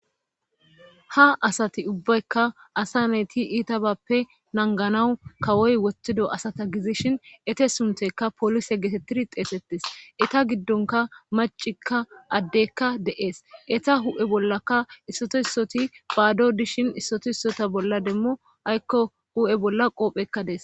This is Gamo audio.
Ha asati ubbaykka asa nayti iitabappe nanganawu kawoy wothtido asata gizishin ete sunteka poolise geetettiri xeexettes eta giddonka macikka addeykka de7ees eta hu7e bollaka issoto issoti phaado dishin issoto issota bolla demmo aykko hu7e bolla qoophekka dees